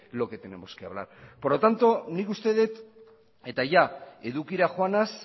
lo que tenemos que hablar por lo tanto nik uste dut eta jada edukira joanaz